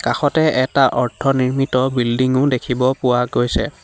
কাষতে এটা অৰ্ধ নিৰ্মিত বিল্ডিং ও দেখিব পোৱা গৈছে।